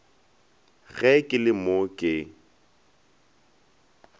ge ke le mo ke